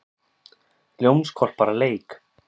Ljónshvolpar að leik.